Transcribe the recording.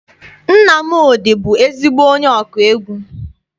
Nnamdi bụ ezigbo onye ọkụ egwu.